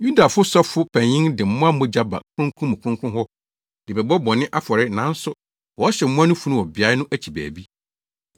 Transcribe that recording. Yudafo Sɔfopanyin de mmoa mogya ba Kronkron mu Kronkron hɔ de bɛbɔ bɔne afɔre nanso wɔhyew mmoa no funu wɔ beae no akyi baabi.